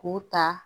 K'u ta